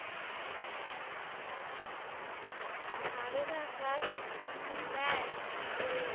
Sir এরা class নেয় কিন্তু